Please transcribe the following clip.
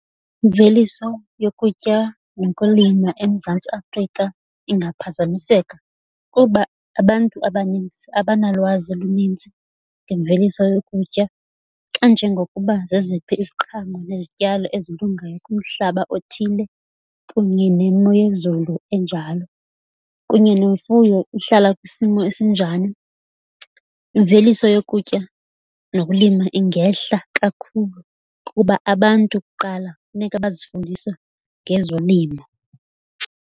Imveliso yokutya nokulima eMzantsi Afrika ingaphazamiseka kuba abantu abanintsi abanalwazi luninzi ngemveliso yokutya xa njengokuba zeziphi iziqhamo nezityalo ezilungayo kumhlaba othile, kunye nemo yezulu enjalo. Kunye nemfuyo uhlala kwisimo esinjani, imveliso yokutya nokulima ingehla kakhulu kuba abantu kuqala funeka bazifundise ngezolimo.